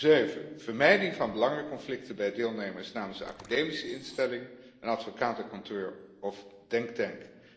Zeven vermijding van belangenconflicten bij deelnemers namens de academische instelling, een advocatenkantoor of denktank.